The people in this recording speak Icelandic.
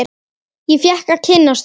Ég fékk að kynnast því.